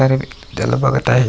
त्याला बगत आहे.